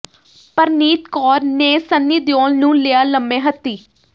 ਪਰਨੀਤ ਕੌਰ ਨੇ ਸੰਨੀ ਦਿਓਲ ਨੂੰ ਲਿਆ ਲੰਮੇ ਹੱਥੀਂ